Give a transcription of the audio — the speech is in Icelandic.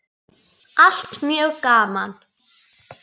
Allt mjög gaman.